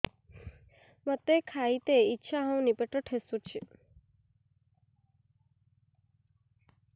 ମୋତେ ଖାଇତେ ଇଚ୍ଛା ହଉନି ପେଟ ଠେସୁଛି